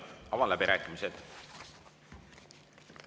Avan läbirääkimised.